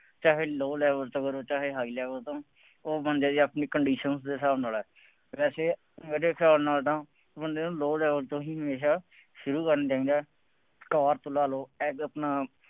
ਚਾਹੇ low level ਤੋਂ ਕਰੋ। ਚਾਹੇ high level ਤੋਂ, ਜੋ ਬੰਦੇ ਦੀ ਆਪਣੀ condition ਉਹਦੇ ਹਿਸਾਬ ਨਾਲ ਹੈ। ਵੈਸੇ ਮੇਰੇ ਹਿਸਾਬ ਨਾਲ ਤਾਂ ਬੰਦੇ ਨੂੰ low level ਤੋਂ ਹੀ ਹਮੇਸ਼ਾ ਸ਼ੁਰੂ ਕਰਨ ਚਾਹੀਦਾ। ਆਪਣਾ